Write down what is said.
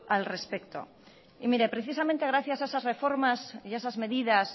al respecto y mire precisamente gracias a esas reformas y a esas medidas